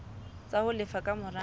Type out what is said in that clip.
tsa ho lefa ka mora